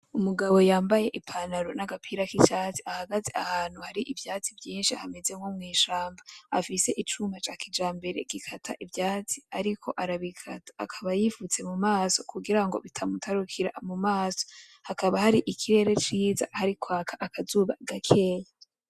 Umugabo yambaye ipantaro nagapira kicatsi ahagaze ahantu hari ivyatsi vyinshi hameze nko mwishamba, afise icuma ca kijambere gikata ivyatsi ariko arabikata akaba yifutse mu maso kugirango bitamutarukira mu maso, hakaba hari ikirere ciza hari kwaka akazuba gakeya.